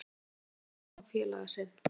Hann kallar á félaga sinn.